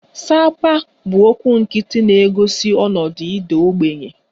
Sapa 'bụ okwu nkịtị na-egosi ọnọdụ ịda ogbenye